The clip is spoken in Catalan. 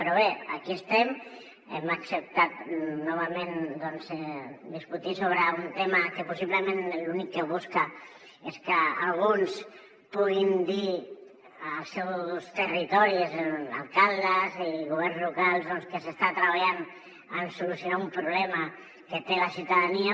però bé aquí estem hem acceptat novament doncs discutir sobre un tema que possiblement l’únic que busca és que alguns puguin dir als seus territoris alcaldes i governs locals que s’està treballant en solucionar un problema que té la ciutadania